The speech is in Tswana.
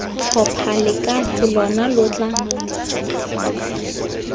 tlhopha lekase lona lo tla